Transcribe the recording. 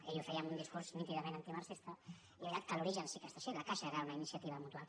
ell ho feia en un discurs nítidament antimarxista i és veritat que l’origen sí que era així la caixa era una iniciativa mutual